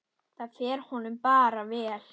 Það fer honum bara vel.